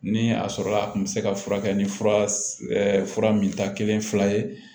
Ni a sɔrɔla a kun bɛ se ka furakɛ ni fura min ta kelen fila ye